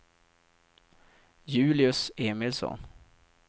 Julius Emilsson